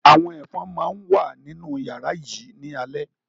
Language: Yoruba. Àwọn Ẹ̀fọn máa wà nínú yàrá yìí ni alẹ́